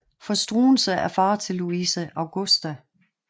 For Struensee er far til Louise Augusta